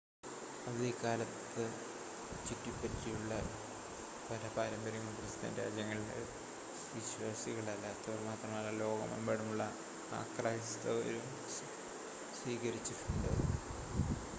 അവധിക്കാലത്തെ ചുറ്റിപ്പറ്റിയുള്ള പല പാരമ്പര്യങ്ങളും ക്രിസ്ത്യൻ രാജ്യങ്ങളിലെ വിശ്വാസികളല്ലാത്തവർ മാത്രമല്ല ലോകമെമ്പാടുമുള്ള അക്രൈസ്തവരും സ്വീകരിച്ചിട്ടുണ്ട്